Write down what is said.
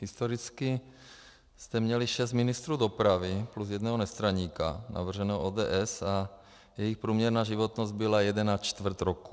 Historicky jste měli šest ministrů dopravy plus jednoho nestraníka navrženého ODS a jejich průměrná životnost byla jeden a čtvrt roku.